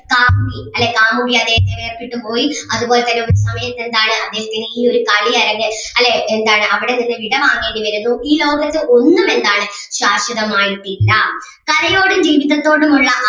കാമുകി അല്ലെ കാമുകി അദ്ദേഹത്തിനെ ഇട്ടിട്ട് പോയി അതുപോലെ തന്നെ ഒരു സമയത്ത് എന്താണ് അദ്ദേഹത്തിന് ഈ ഒരു കളിയരങ്ങ് അല്ലേ എന്താണ് അവിടെ നിന്ന് വിടവാങ്ങേണ്ടി വരുന്നു. ഈ ലോകത്ത് ഒന്നും എന്താണ് ശാശ്വതമായിട്ട് ഇല്ല. കലയോടും ജീവീതത്തോടും ഉള്ള